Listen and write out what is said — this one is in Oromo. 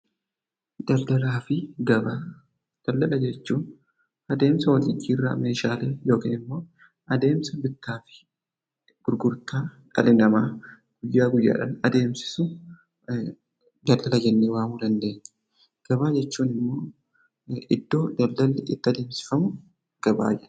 Daldalaa fi Gabaa: Daldala jechuun adeemsa wal jijjiirraa meeshaalee yookiin immoo adeemsa bittaa fi gurgurtaa dhalli namaa guyyaadhaa guyyaatti adeemsisu daldala jennee waamuu dandeenya. Gabaa jechuun immoo iddoo daldalli itti adeemsifamu gabaa jenna.